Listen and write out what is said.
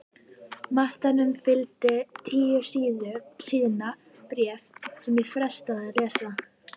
Matnum fylgdi tíu síðna bréf sem ég frestaði að lesa.